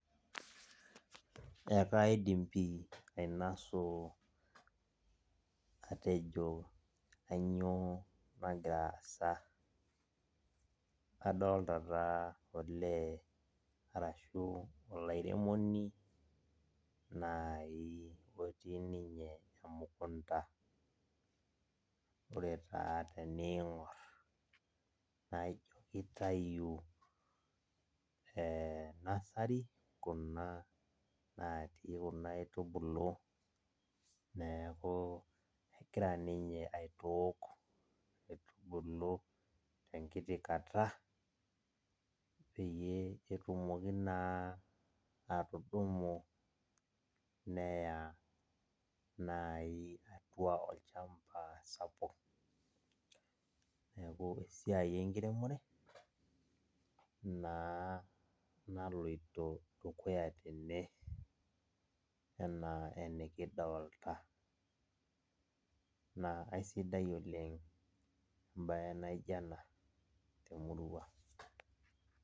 Ekaidim pi ainosu atejo kanyioo nagira aasa. Adolta taa olee arashu olairemoni nai otii ninye emukunda. Ore taa teniing'or, naijo kitayu nasari kuna natii kuna aitubulu, neeku egira ninye aitook, metubulu tenkiti kata, peyie etumoki naa atudumu neya nai atua olchamba sapuk, neeku esiai enkiremore, naa naloito dukuya tene enaa enikidolta. Naa aisidai oleng ebae naija ena temurua.